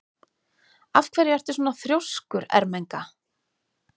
Af hverju ertu svona þrjóskur, Ermenga?